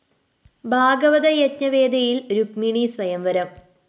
ഭാഗവത യജ്ഞവേദിയില്‍ രുക്മിണീ സ്വയംവരം